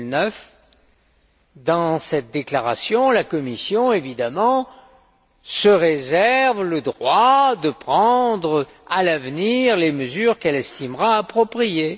2009. Dans cette déclaration, la Commission, se réserve le droit de prendre à l'avenir les mesures qu'elle estimera appropriées.